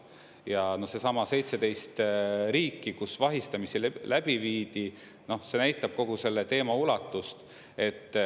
Ja seesama 17 riiki, kus vahistamisi läbi viidi, see näitab kogu selle teema ulatust.